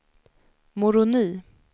Moroni